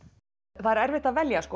það er erfitt að velja